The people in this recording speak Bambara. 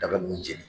Daba ninnu jeni